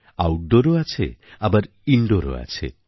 আউটডোরও আছে আবার ইন্ডোরও আছে